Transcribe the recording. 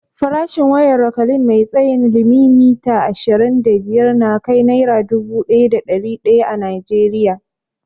Farashin wayar rakalin mai tsayin milimita ashirin da biyar nakai naira dubu daya da dari daya a najeriya